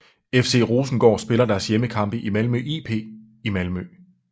FC Rosengård spiller deres hjemmekampe i Malmö IP i Malmö